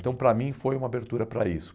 Então, para mim, foi uma abertura para isso.